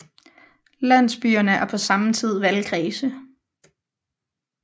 Landsbyerne er på samme tid valgkredse